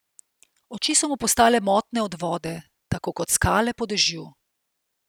Oči so mu postale motne od vode, tako kot skale po dežju.